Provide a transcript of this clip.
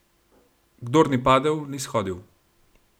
Kdor ni padel, ni shodil.